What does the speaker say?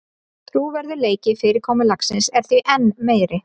Trúverðugleiki fyrirkomulagsins er því enn meiri